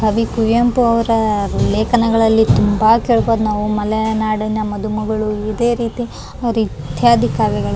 ಕವಿ ಕುವೆಂಪು ಅವ್ರ ಲೇಖನಗಳಲ್ಲಿ ತುಂಬಾ ಕೇಳ್ಬಹುದು ನಾವು ಮಲೆನಾಡಿನ ಮದುಮಗಳು ಇದೆ ರೀತಿ ಅವ್ರ ಇತ್ಯಾದಿ ಕಾವ್ಯಗಳನ್ನ.